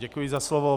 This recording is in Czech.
Děkuji za slovo.